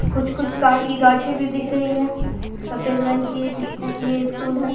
कुछ-कुछ ताड़ की गाछी भी दिख रही है सफ़ेद रंग की एक ये स्कूल है।